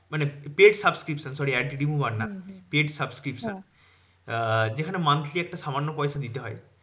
মানে paid subscription sorry ad remover না paid subscription আহ যেখানে monthly একটা সামান্য পয়সা দিতে হয়।